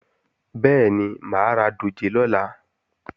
Bẹ́ẹ̀ni, mà á ra dòjé lọ́la